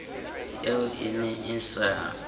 eo e ne e sa